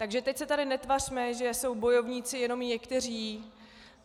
Takže teď se tady netvařme, že jsou bojovníci jenom někteří.